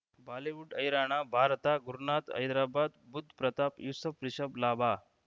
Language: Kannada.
ಬಾಲಿವುಡ್ ಹೈರಾಣ ಭಾರತ ಗುರುನಾಥ ಹೈದರಾಬಾದ್ ಬುಧ್ ಪ್ರತಾಪ್ ಯೂಸುಫ್ ರಿಷಬ್ ಲಾಭ